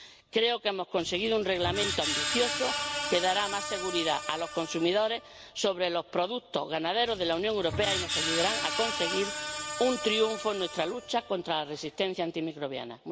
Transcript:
Creo que hemos conseguido un Reglamento ambicioso que dará más seguridad a los consumidores sobre los productos ganaderos de la Unión Europea y nos ayudará a conseguir un triunfo en nuestra lucha contra la resistencia antimicrobiana.